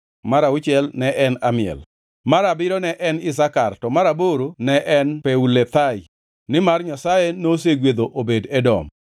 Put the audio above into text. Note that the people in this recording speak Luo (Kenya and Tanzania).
mar auchiel ne en Amiel, mar abiriyo ne en Isakar, to mar aboro ne en Peulethai. Nimar Nyasaye nosegwedho Obed-Edom.